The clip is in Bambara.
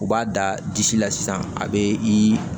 U b'a da disi la sisan a bɛ i